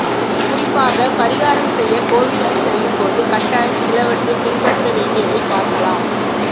குறிப்பாக பரிகாரம் செய்ய கோவிலுக்கு செல்லும் போது கட்டாயம் சில வற்றை பின்பற்ற வேண்டியதை பார்க்கலாம்